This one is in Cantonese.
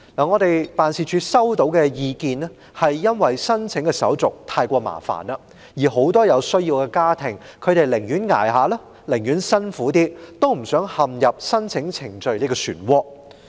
我們的辦事處收到的意見是，由於申請在職家庭津貼的手續太繁複，很多有需要的家庭寧願撐下去、辛苦一點，也不想陷入申請程序的漩渦。